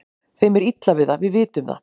Þeim er illa við það, við vitum það.